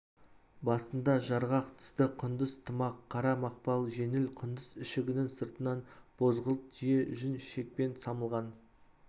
басында жарғақ тысты құндыз тымақ қара мақпал жеңіл құндыз ішігінің сыртынан бозғылт түйе жүн шекпен жамылған